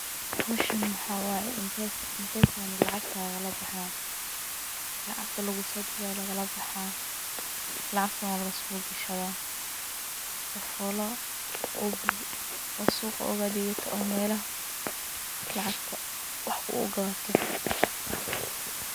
Meeshan waxaa waye mpesada lacgta lagalabaxayo, lacagta lugusodira aya lagalabaxa lacagtana walagasogashada sifa ad suqa ogadegato ama lacagta ad wax ogugadato.